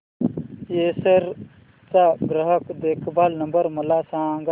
Acer चा ग्राहक देखभाल नंबर मला सांगा